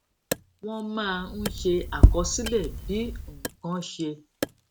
wón máa ń ṣe àkọsílè bí nǹkan ṣe